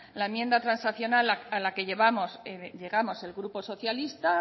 la enmienda transaccional a la que llegamos el grupo socialista